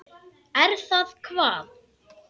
Er það hvað.?